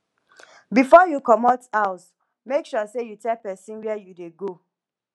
before you commot house make sure say you tell pesin where u dey go